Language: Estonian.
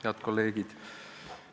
Head kolleegid!